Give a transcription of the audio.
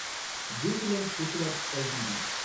Jubilant FoodWorks LTD